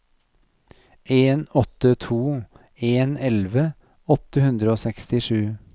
en åtte to en elleve åtte hundre og sekstisju